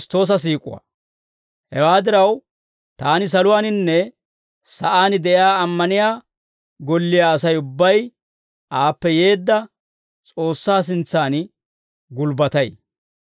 Hewaa diraw, taani saluwaaninne sa'aan de'iyaa ammaniyaa golliyaa Asay ubbay aappe yeedda S'oossaa sintsan gulbbatay.